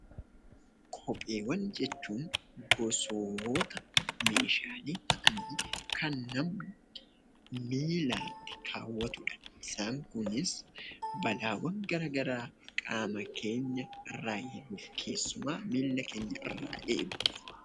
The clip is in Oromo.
Kopheewwan jechuun gosoota meeshaalee ta'anii kan namni miilaatti kaawwatudha. Isaan kunis balaawwan gara garaa qaama keenya irraa eeguuf keessumaa miila keenya irraa eeguuf tajaajilu.